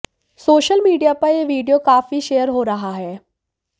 social media पर यह video काफी शेयर हो रहा है